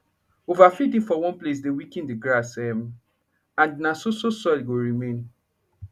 over feeding for one place dey weaken d grass um and na so so soil go remain